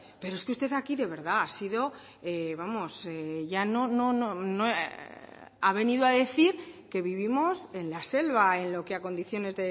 pero es que usted aquí de verdad ha sido vamos ya no no ha venido a decir que vivimos en la selva en lo que a condiciones